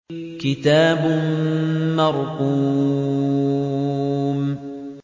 كِتَابٌ مَّرْقُومٌ